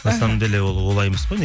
на самом деле ол олай емес қой